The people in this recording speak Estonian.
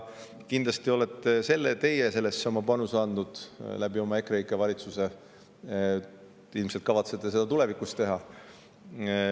Kindlasti olete teie sellesse oma panuse andnud oma EKREIKE valitsusega, ilmselt kavatsete seda ka tulevikus teha.